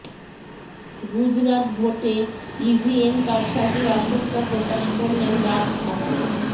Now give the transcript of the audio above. গুজরাট ভোটে ইভিএম কারসাজির আশঙ্কা প্রকাশ করলেন রাজ ঠাকরে